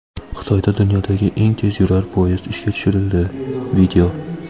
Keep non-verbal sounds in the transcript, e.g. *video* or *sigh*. Xitoyda dunyodagi eng tezyurar poyezd ishga tushirildi. *video*